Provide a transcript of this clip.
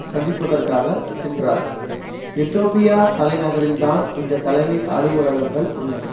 சந்திப்பதற்காக சென்றார் எதோப்பியா தலைநகரில்தான் இந்த தலைமை அலுவலகங்கள் உள்ளன